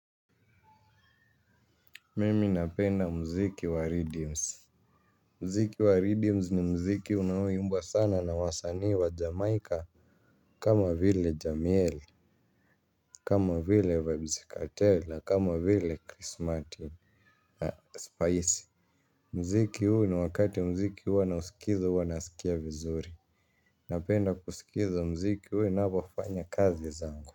Mimi napenda muziki wa ridims. Muziki wa ridims ni muziki unaoimbwa sana na wasanii wa Jamaica. Kama vile Jamiel. Kama vile Vybz Kartel. Kama vile Chris Martin, Spice. Muziki huu ni wakati muziki huwa nasikiza huwa nasikia vizuri. Napenda kusikiza muziki huu ninapofanya kazi zangu.